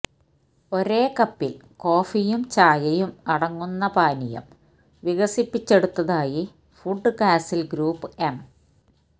ഒരേ കപ്പിൽ കോഫിയും ചായയും അടങ്ങുന്ന പാനീയം വികസിപ്പിച്ചെടുത്തതായി ഫുഡ് കാസിൽ ഗ്രൂപ് എം